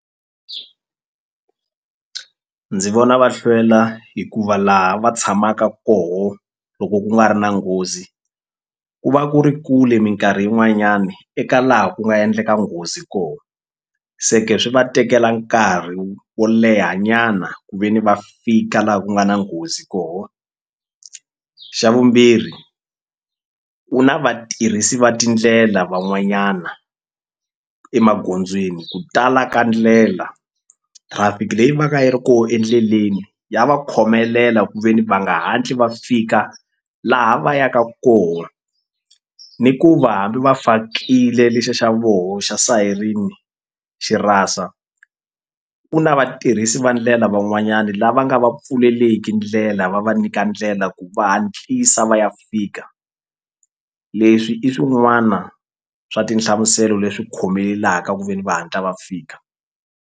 Ndzi vona va hlwela hikuva laha va tshamaka koho loko ku nga ri na nghozi ku va ku ri kule minkarhi yin'wanyani eka laha ku nga endleka nghozi ko se ke swi va tekela nkarhi wo leha nyana ku ve ni va fika laha ku nga na nghozi koho xa vumbirhi ku na vatirhisi va tindlela van'wanyana emagondzweni ku tala ka ndlela traffic leyi va ka yi ri ko endleleni ya va khomelela kuveni va nga hatli va fika laha va yaka koho ni ku va hambi va fakile lexa xa voho xa sayirini xi rasa ku na vatirhisi va ndlela van'wanyani lava nga va pfuleleki ndlela va va nyika ndlela ku va hatlisa va ya fika leswi i swin'wana swa tinhlamuselo leswi khomelaka ku ve ni va hatla va fika.